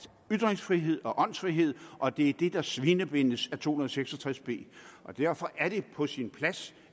ytringsfrihed og åndsfrihed og det er det der svinebindes af to hundrede og seks og tres b og derfor er det på sin plads